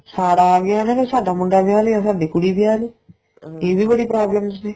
ਸਾੜਾ ਆ ਗਿਆ ਨਾ ਵੀ ਸਾਡਾ ਮੁੰਡਾ ਵਿਆਹ ਲਿਆ ਸਾਡੀ ਕੁੜੀ ਵਿਆਹ ਲੀ ਇਹ ਵੀ ਬੜੀ problems ਨੇ